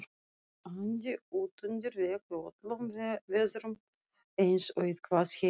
andi útundir vegg í öllum veðrum eins og eitthvað heim